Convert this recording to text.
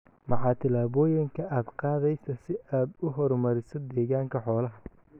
Maxaa tillaabooyinka aad qaadaysaa si aad u horumariso deegaanka xoolaha?